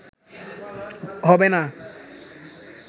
হবে না